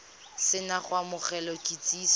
se na go amogela kitsiso